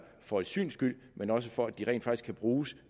for et syns skyld men også for at de rent faktisk kan bruges